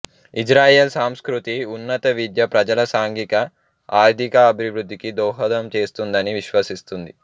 Israel సంస్కృతి ఉన్నత విద్య ప్రజల సాంఘిక ఆర్థికాభివృద్ధికి దోహదం చేస్తుందని విశ్వసిస్తుంది